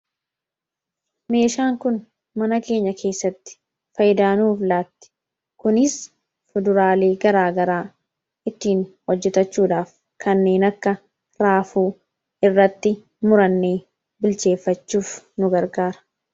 Meeshaan kun mana keenya keessatti fayyidaa nuuf laatti kunis fuduraalee garaagaraa ittiin hojjetachuudhaaf kanneen akka raafuu irratti murannee bilcheeffachuuf nu gargaara.